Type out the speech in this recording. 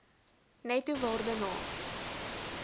netto waarde na